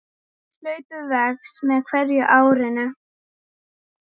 Hlaupið vex með hverju árinu.